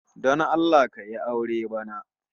Don Allah ka yi aure bana